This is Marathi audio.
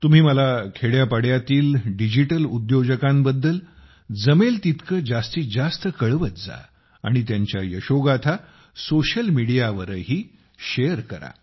तुम्ही मला खेड्यापाड्यातील डिजिटल उद्योजकांबद्दल जमेल तितके जास्तीत जास्त कळवत जा आणि त्यांच्या यशोगाथा सामाजिक माध्यमांच्यावरही शेअर करा